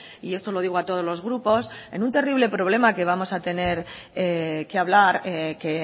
y esto lo digo a todos los grupos en un terrible problema que vamos a tener que hablar que